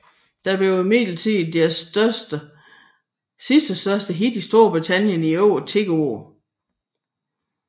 Det blev imidlertid deres sidste større hit i Storbritannien i over 10 år